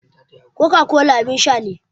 Coca-cola abin sha ne.